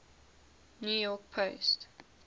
new york post